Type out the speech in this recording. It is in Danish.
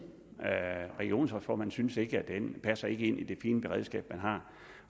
regionsrådsformanden synes ikke at den passer ind i det fine beredskab man har